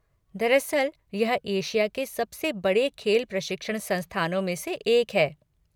दरअसल यह एशिया के सबसे बड़े खेल प्रशिक्षण संस्थानों में से एक है।